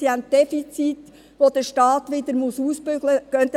Sie haben Defizite, die der Staat wieder ausbügeln muss.